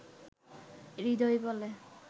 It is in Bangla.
হৃদয় বলে